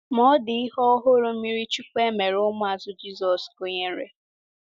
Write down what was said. Ma ọ dị ihe ọhụrụ mmiri chukwu e mere ụmụazụ Jizọs gụnyere.